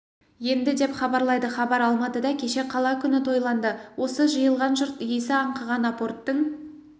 енді деп хабарлайды хабар алматыда кеше қала күні тойланды осы жиылған жұрт иісі аңқыған апорттың